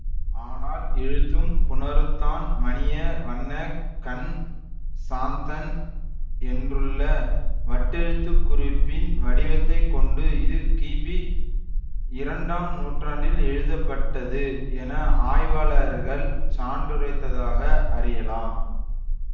ஆனால் எழுத்தும் புணருத்தான் மணிய வண்ணக்கன் சாத்தன் என்றுள்ள வட்டெழுத்துக்குறிப்பின் வடிவத்தைக் கொண்டு இது கிபிஇரண்டாம் நூற்றாண்டில் எழுதப்பட்டது என ஆய்வாளர்கள் சான்றுரைத்ததாக அறியலாம்